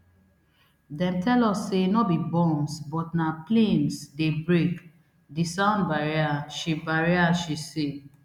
dem tell us say no be bombs but na [planes dey break] di sound barrier she barrier she say